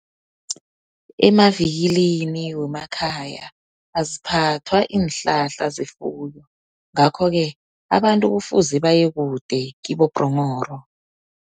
Emavikilini wemakhaya aziphathwa iinhlahla zefuyo. Ngakho-ke, abantu kufuze baye kude, kibo-Bhronghoro.